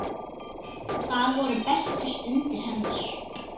Það voru bestu stundir hennar.